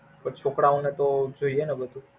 પણ છોકરાઓ ને તો જોઈ ને બધું?